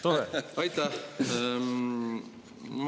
Auväärt ettekandja!